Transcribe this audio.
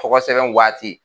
Tɔgɔ sɛbɛn waati